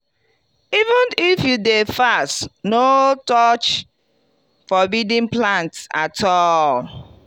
even if you dey fast no touch forbidden plants at all.